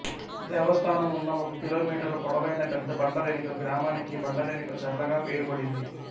దేవస్థానం ఉన్న ఒక కిలోమీటరు పొడవైన పెద్ద బండ వెనుక గ్రామానికి బండవెనుక చర్లగా పేరుపడింది